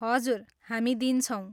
हजुर, हामी दिन्छौँ।